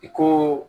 I ko